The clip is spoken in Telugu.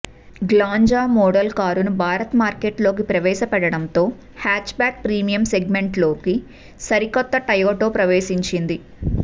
గ్లాంజా మోడల్ కారును భారత మార్కెట్లోకి ప్రవేశపెట్టడంతో హ్యాచ్ బ్యాక్ ప్రీమియం సెగ్మెంట్లోకి సరికొత్త టయోటా ప్రవేశించింది